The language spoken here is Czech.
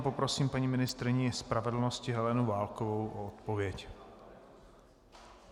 A poprosím paní ministryni spravedlnosti Helenu Válkovou o odpověď.